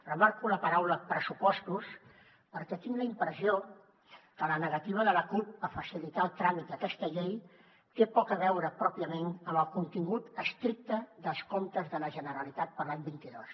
remarco la paraula pressupostos perquè tinc la impressió que la negativa de la cup a facilitar el tràmit a aquesta llei té poc a veure pròpiament amb el contingut estricte dels comptes de la generalitat per a l’any vint dos